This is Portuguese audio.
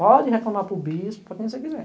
Pode reclamar para o bispo, para quem você quiser.